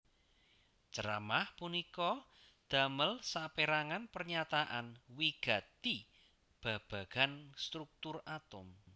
Ceramah punika damel sapérangan pernyataan wigati babagan struktur atom